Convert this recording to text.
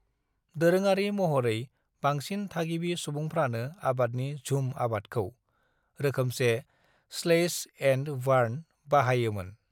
"दोरोङारि महरै, बांसिन थागिबि सुबुंफ्रानो आबादनि झूम आदबखौ (रोखोमसे स्लैश-एन्ड-बार्न) बाहायोमोन।"